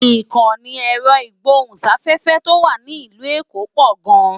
Ìkànnì ẹ̀rọ ìgbóhùn-sáfẹ́fẹ́ tó wà ní ìlú èkó pò gan-an